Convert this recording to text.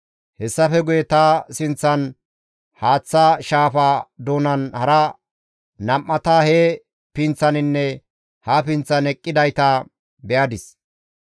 Hessafe guye ta sinththan haaththa shaafa doonan hara nam7ata he pinththaninne ha pinththan eqqidayta be7adis.